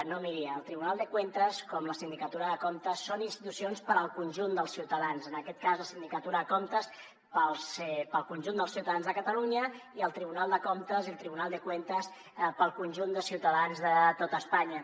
no miri el tribunal de cuentas com la sindicatura de comptes són institucions per al conjunt dels ciutadans en aquest cas la sindicatura de comptes pel conjunt dels ciutadans de catalunya i el tribunal de comptes el tribunal de cuentas pel conjunt de ciutadans de tot espanya